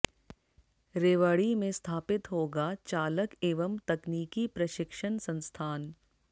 रेवाड़ी में स्थापित होगा चालक एवं तकनीकी प्रशिक्षण संस्थान